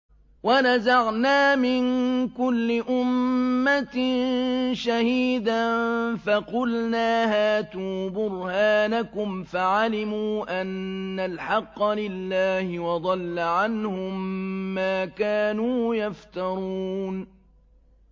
وَنَزَعْنَا مِن كُلِّ أُمَّةٍ شَهِيدًا فَقُلْنَا هَاتُوا بُرْهَانَكُمْ فَعَلِمُوا أَنَّ الْحَقَّ لِلَّهِ وَضَلَّ عَنْهُم مَّا كَانُوا يَفْتَرُونَ